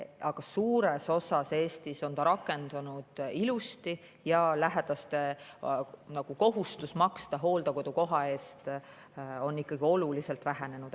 Aga suures osas Eestis on see reform ilusti rakendunud ja lähedaste kohustus maksta hooldekodukoha eest on ikkagi oluliselt vähenenud.